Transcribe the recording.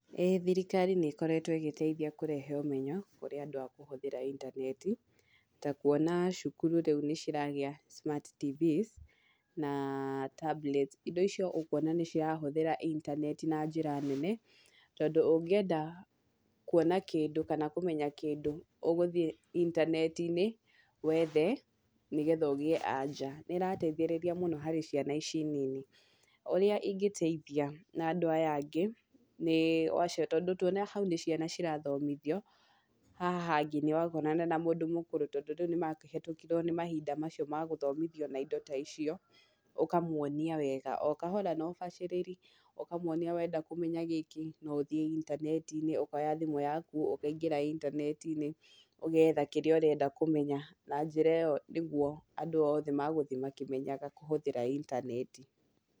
ĩĩ thirikari nĩ ĩkoretwo ĩgĩteithia kũrehe ũmenyo, kũrĩ andũ a kũhũthĩra intaneti, ta kuona cukuru rĩũ nĩ iragĩa ta smart tvs na tablet, indo icio ũkona nĩ irahũthĩra intaneti na njĩra nene ,tondũ ũngĩenda kuona kĩndũ , kana kũmenya kĩndũ ũgũthiĩ itaneti-inĩ , wethe nĩgetha ũgĩe anja, na nĩ ĩrateithĩrĩria mũno harĩ ciana ici nini. Ũrĩa ĩngĩteithia na andũ aya angĩ nĩ wa cio tondũ tuona hau nĩ ciana cirathomithio, haha hangĩ ndũgakorana na mũndũ mũkũrũ tondũ rĩu nĩ makĩhũtũkirwo nĩ mahinda macio magũthomithio na indo ta icio, ũkamwonia wega, o kahora na ũbaciriri, ũkamwonia wenda kũhũthĩra gĩkĩ, no ũthiĩ intaneti-inĩ ũkoya thimũ yaku ukaingĩra intaneti-inĩ, ũgetha kĩrĩa ũrenda kũmenya, na njĩra ĩo nĩgũo andũ othe magũthiĩ makĩmenyaga kũhũthĩra intaneti.